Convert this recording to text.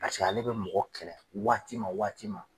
Paseke ale bɛ mɔgɔ kɛlɛ waati ma waati ma.